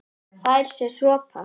Fær sér sopa.